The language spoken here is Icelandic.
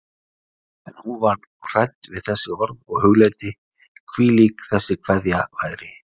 En hún varð hrædd við þessi orð og hugleiddi, hvílík þessi kveðja væri.